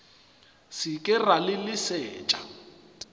se ke ra le leset